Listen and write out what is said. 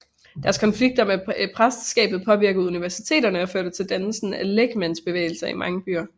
Deres konflikter med præsteskabet påvirkede universiteterne og førte til dannelse af lægmandsbevægelser i mange byer